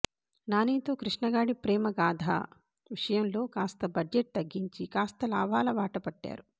నాని తో కృష్ణ గాడి ప్రేమ గాధ విషయం లో కాస్త బడ్జెట్ తగ్గించి కాస్త లాభాల బాట పట్టారు